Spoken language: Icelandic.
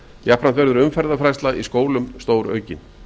jafnframt vegur umferðarfræðsla í skólum stóraukin